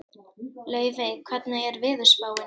Laufey, hvernig er veðurspáin?